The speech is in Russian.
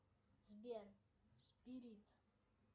сбер спирит